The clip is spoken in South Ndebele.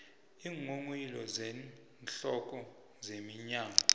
iinghonghoyilo zeenhloko zeminyango